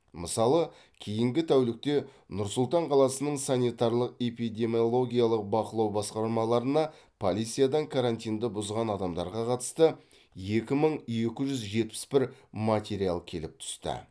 мысалы кейінгі тәулікте нұр сұлтан қаласының санитарлық эпидемиологиялық бақылау басқармаларына полициядан карантинді бұзған адамдарға қатысты екі мың екі жүз жетпіс бір материал келіп түсті